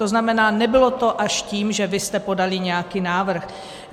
To znamená, nebylo to až tím, že vy jste podali nějaký návrh.